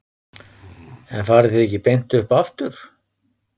En farið þið ekki beint upp aftur?